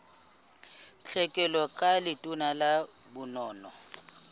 tlhekelo ka letona la bonono